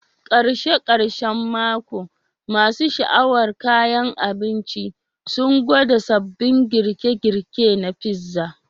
Karshen karshen mako, masu sha'awar kayan abinci sun gwada sabbin girke-girke na pizza.